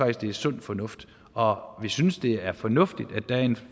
at det er sund fornuft og vi synes det er fornuftigt at der er en